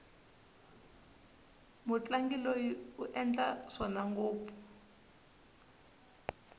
mutlangi loyi u endla swona ngopfu